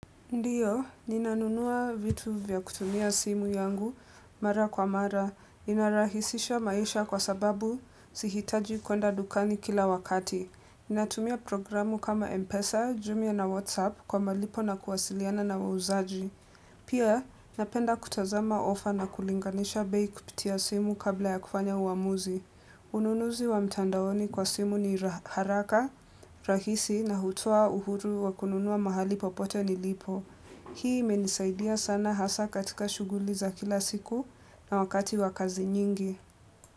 Ndiyo, ninanunua vitu vya kutumia simu yangu mara kwa mara. Inarahisisha maisha kwa sababu sihitaji kwenda dukani kila wakati. Ninatumia programu kama Mpesa, Jumia na Whatsapp kwa malipo na kuwasiliana na wauzaji. Pia, napenda kutazama ofa na kulinganisha bei kupitia simu kabla ya kufanya uamuzi. Ununuzi wa mtandaoni kwa simu ni haraka, rahisi na hutoa uhuru wa kununua mahali popote ni lipo. Hii imenisaidia sana hasa katika shughuliza kila siku na wakati wa kazi nyingi.